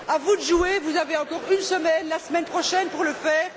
À vous de jouer, vous avez encore une semaine, la semaine prochaine, pour le faire.